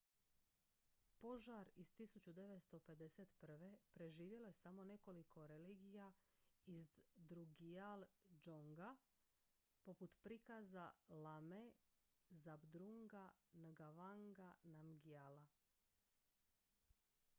požar iz 1951. preživjelo je samo nekoliko relikvija iz drukgyal dzonga poput prikaza lame zhabdrunga ngawanga namgyala